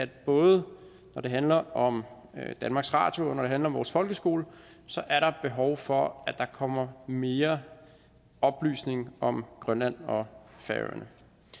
både når det handler om danmarks radio og når det handler om vores folkeskole er behov for at der kommer mere oplysning om grønland og færøerne